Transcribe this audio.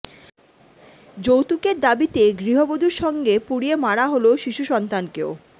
যৌতুকের দাবিতে গৃহবধূর সঙ্গে পুড়িয়ে মারা হল শিশু সন্তানকেও